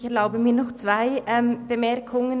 Ich erlaube mir noch zwei Bemerkungen.